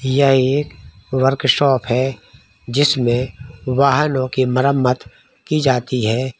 यह एक workshop है जिसमें वाहनों की मरम्मत की जाती है।